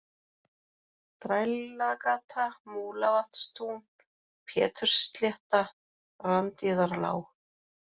Þrælagata, Múlavatnstún, Pétursslétta, Randíðarlág